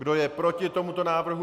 Kdo je proti tomuto návrhu?